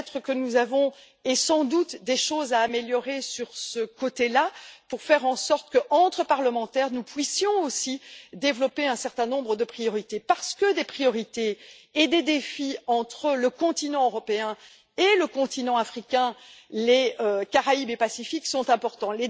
peut être, sans doute même, avons nous des choses à améliorer sur ce plan pour faire en sorte qu'entre parlementaires, nous puissions aussi définir un certain nombre de priorités, parce que des priorités et des défis pour le continent européen et le continent africain, les Caraïbes et le Pacifique sont importants.